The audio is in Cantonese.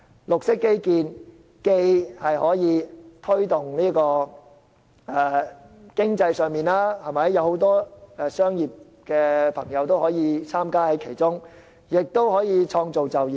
綠色基建既可推動經濟，讓商界人士參與其中，亦可創造就業。